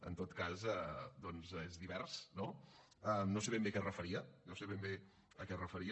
en tot cas doncs és divers no no sé ben bé a què es referia no sé ben bé a què es referia